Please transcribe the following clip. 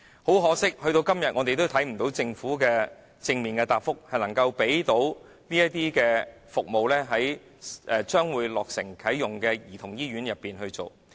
很可惜，時至今天，我們仍未獲得政府正面的答覆，表示會在即將落成的兒童醫院裏提供這些服務。